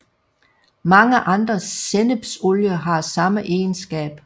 Mange andre sennepsolier har samme egenskab